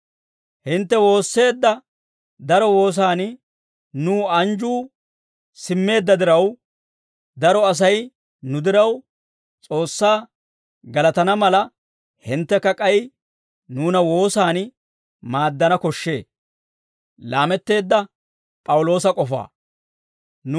Hintte woosseedda daro woosan nuw anjjuu simmeedda diraw, daro Asay nu diraw S'oossaa galatana mala, hinttekka k'ay nuuna woosan maaddana koshshee.